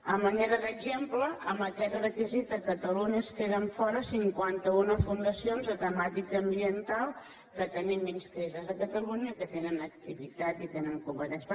a manera d’exemple amb aquests requisits a catalunya es queden fora cin·quanta·una fundacions de temàtica ambiental que te·nim inscrites a catalunya que tenen activitat i tenen competència